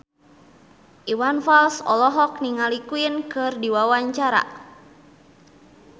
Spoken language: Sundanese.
Iwan Fals olohok ningali Queen keur diwawancara